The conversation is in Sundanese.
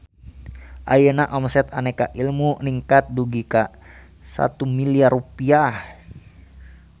Ayeuna omset Aneka Ilmu ningkat dugi ka 1 miliar rupiah